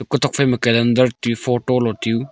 kutok phaima calendar tiu photo lo tiu.